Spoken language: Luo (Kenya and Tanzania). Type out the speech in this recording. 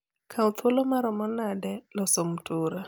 kaw thuolo maromo nade loso mtura